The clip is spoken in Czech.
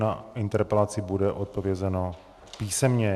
Na interpelaci bude odpovězeno písemně.